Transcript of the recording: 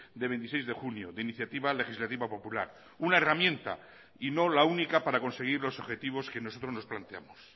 de veintiséis de junio de iniciativa legislativa popular una herramienta y no la única para conseguir los objetivos que nosotros nos planteamos